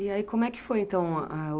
E aí como é que foi então?